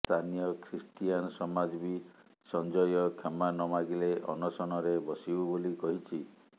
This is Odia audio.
ସ୍ଥାନୀୟ ଖ୍ରୀଷ୍ଟିଆନ ସମାଜ ବି ସଞ୍ଜୟ କ୍ଷମା ନମାଗିଲେ ଅନଶନରେ ବସିବୁ ବୋଲି କହିଛି